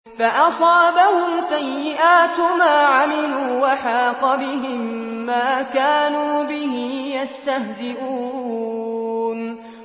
فَأَصَابَهُمْ سَيِّئَاتُ مَا عَمِلُوا وَحَاقَ بِهِم مَّا كَانُوا بِهِ يَسْتَهْزِئُونَ